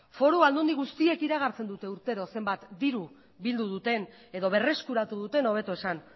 foru aldundi guztiek iragartzen dute urtero zenbat diru bildu duten edo berreskuratu duten hobeto esan